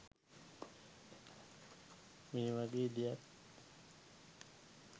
මේ වගේ දෙයක්